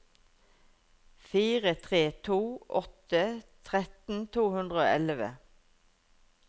fire tre to åtte tretten to hundre og elleve